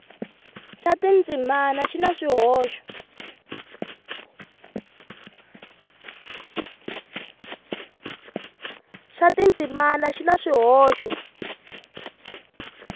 xa tindzimana xi na swihoxo